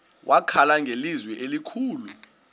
wakhala ngelizwi elikhulu